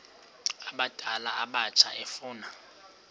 abadala abatsha efuna